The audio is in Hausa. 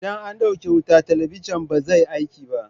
Idan an ɗauke wuta, talabijin ba zai aiki ba.